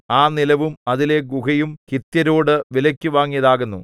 ആ നിലവും അതിലെ ഗുഹയും ഹിത്യരോടു വിലയ്ക്കു വാങ്ങിയതാകുന്നു